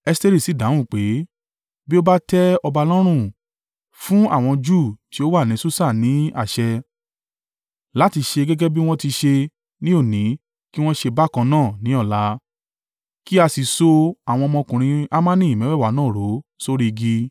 Esteri sì dáhùn pé, “Bí ó bá tẹ́ ọba lọ́rùn, fún àwọn Júù tí ó wà ní Susa ní àṣẹ láti ṣe gẹ́gẹ́ bí wọ́n ti ṣe ní òní kí wọn ṣe bákan náà ní ọ̀la, kí a sì so àwọn ọmọkùnrin Hamani mẹ́wẹ̀ẹ̀wá náà rọ̀ sórí igi.”